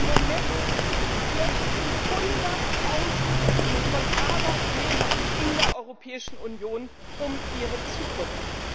Im Moment fürchten Hunderttausende von Arbeitnehmern in der Europäischen Union um ihre Zukunft.